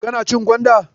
Kana cin gwanda?